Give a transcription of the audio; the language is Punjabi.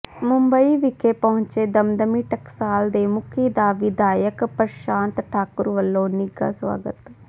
ਮੁੰਬਈ ਵਿਖੇ ਪਹੁੰਚੇ ਦਮਦਮੀ ਟਕਸਾਲ ਦੇ ਮੁਖੀ ਦਾ ਵਿਧਾਇਕ ਪ੍ਰਸ਼ਾਂਤ ਠਾਕੁਰ ਵੱਲੋਂ ਨਿੱਘਾ ਸਵਾਗਤ